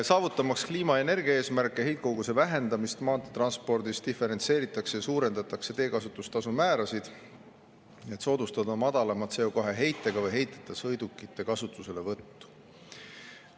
Saavutamaks kliima- ja energiaeesmärke, heitkoguse vähendamist maanteetranspordis, diferentseeritakse ja suurendatakse teekasutustasu määrasid, et soodustada madalama CO2‑heitega või ‑heiteta sõidukite kasutuselevõttu.